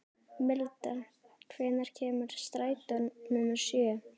Milda, hvenær kemur strætó númer sjö?